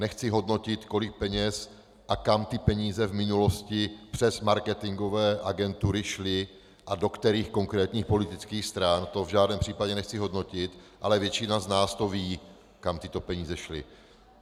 Nechci hodnotit, kolik peněz a kam ty peníze v minulosti přes marketingové agentury šly a do kterých konkrétních politických stran, to v žádném případě nechci hodnotit, ale většina z nás to ví, kam tyto peníze šly.